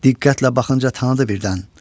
Diqqətlə baxınca tanıdı birdən.